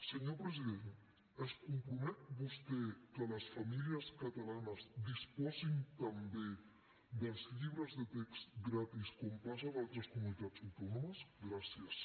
senyor president es compromet vostè que les famílies catalanes disposin també dels llibres de text gratis com passa en altres comunitats autònomes gràcies